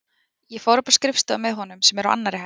Ég fór upp á skrifstofu með honum sem er á annarri hæð.